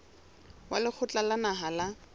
wa lekgotla la naha la